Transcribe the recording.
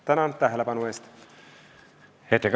Tänan tähelepanu eest!